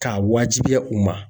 K'a wajibiya u ma.